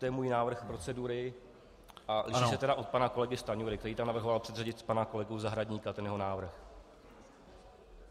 To je můj návrh procedury a liší se tedy od pana kolegy Stanjury, který tam navrhoval předřadit pana kolegu Zahradníka, ten jeho návrh.